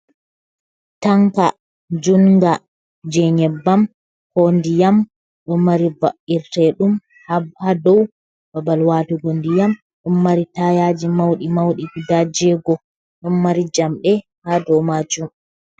Tanka juɗnga jey nyebbam ko ndiyam ɗo mari ba’irteɗum haa dow babal watugo ndiyam .Ɗon mari tayaaji mawɗi mawɗi ,guda jeego ɗon mari jamɗe haa dow maajum.